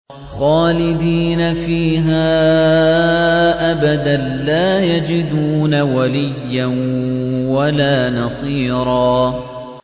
خَالِدِينَ فِيهَا أَبَدًا ۖ لَّا يَجِدُونَ وَلِيًّا وَلَا نَصِيرًا